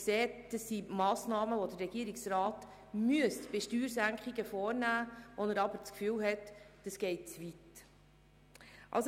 Dabei handelt es sich um Massnahmen, die der Regierungsrat, um Steuersenkungen vorzunehmen, ergreifen müsste, bei denen er aber das Gefühl hat, dass sie zu weit gehen.